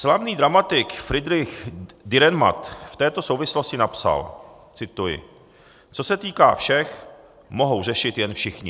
Slavný dramatik Friedrich Dürrenmatt v této souvislosti napsal - cituji: "Co se týká všech, mohou řešit jen všichni."